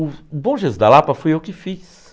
O Bom Jesus da Lapa fui eu que fiz.